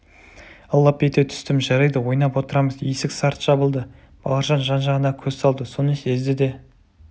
лып ете түстім жарайды ойнап отырамыз есік сарт жабылды бауыржан жан-жағына көз салды соны сезді де